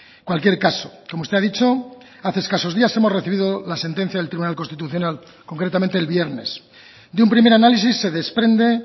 en cualquier caso como usted ha dicho hace escasos días hemos recibido la sentencia del tribunal constitucional concretamente el viernes de un primer análisis se desprende